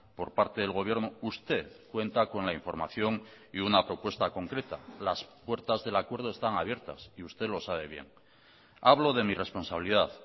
por parte del gobierno usted cuenta con la información y una propuesta concreta las puertas del acuerdo están abiertas y usted lo sabe bien hablo de mi responsabilidad